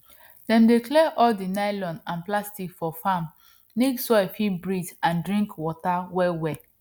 dem dey clear all di nylon and plastic for farm make soil fit breathe and drink water wellwell